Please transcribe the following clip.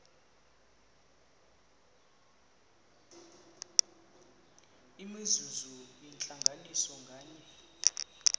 imizuzu yentlanganiso nganye